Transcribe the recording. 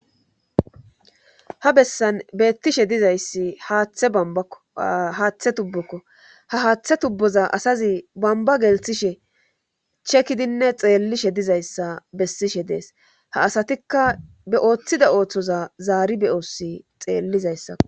ha bessan beettishe dizayssi haaththe tubbokko ha haaththe tubboza asazi bamba gelthishe chekidinne xeellishe dizayssa bessishe dees ha asatikka be ooththida ooththoza zaari be oossi xeellizayssa